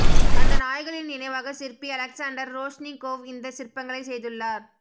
அந்த நாய்களின் நினைவாகச் சிற்பி அலெக்சாண்டர் ரோஷ்னிகோவ் இந்தச் சிற்பங்களைச் செய்துள்ளார்